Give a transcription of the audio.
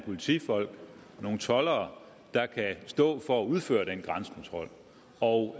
politifolk og nogle toldere der kan stå for at udføre den grænsekontrol og